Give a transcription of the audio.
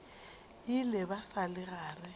ile ba sa le gare